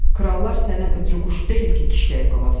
Krallar səndən ötrü quş deyil ki, kişləyib qovasan.